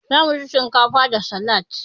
Zamu ci shinkafa da salad.